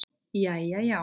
Jæja, já.